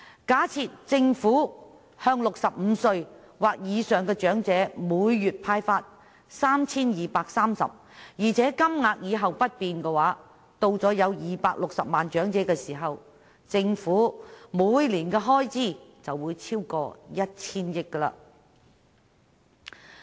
假設政府向65歲或以上的長者每月派發 3,230 元，而且金額以後不變，當長者人數達260萬時，政府每年的開支便會超過 1,000 億元。